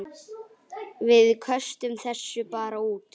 Við köstum þessu bara út.